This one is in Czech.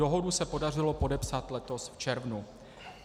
Dohodu se podařilo podepsat letos v červnu.